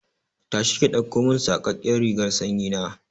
Tashi ki ɗaukomin saƙaƙƙen rigar sanyi na!